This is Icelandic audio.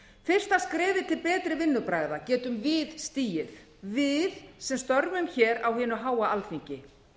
fyrsta skrefið til betri vinnubragða getum við stigið við sem störfum á hinu háa alþingi